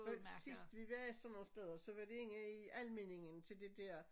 Men sidst vi var sådan nogen steder så var det inde i Almindingen til det dér